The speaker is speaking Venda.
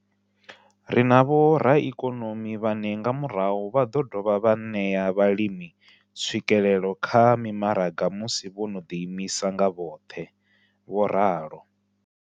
Ri na vhoraikonomi vhane nga murahu vha ḓo dovha vha ṋea vhalimi tswikelelo kha mimaraga musi vho no ḓiimisa nga vhoṱhe. vho ralo.